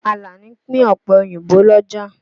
Àlàní pín ọ̀pẹ òyìnbó l'ọ́jà.